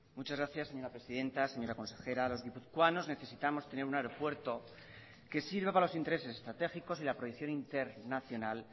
muchas gracias señora presidenta señora consejera los guipuzcoanos necesitamos tener un aeropuerto que sirva para los intereses estratégicos y la proyección internacional